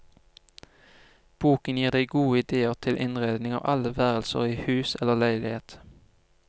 Boken gir deg gode ideer til innredning av alle værelser i hus eller leilighet.